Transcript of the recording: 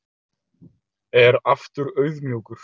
Er aftur auðmjúkur